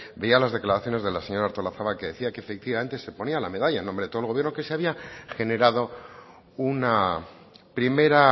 veía las declaraciones de la señora artolazabal que decía que efectivamente se ponía la medalla en nombre de todo el gobierno que se había generado una primera